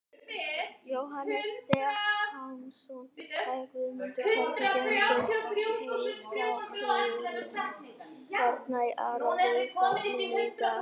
Jóhannes Stefánsson: Jæja, Guðmundur, hvernig gengur heyskapurinn hérna í Árbæjarsafninu í dag?